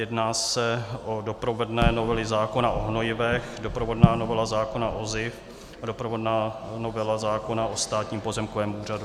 Jedná se o doprovodné novely zákona o hnojivech, doprovodná novela zákona o SZIF a doprovodná novela zákona o Státním pozemkovém úřadu.